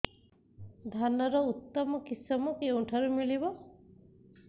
ଧାନର ଉତ୍ତମ କିଶମ କେଉଁଠାରୁ ମିଳିବ